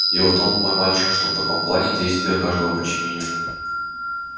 дело в том мой мальчик что в таком плане как наш действия каждого подчинения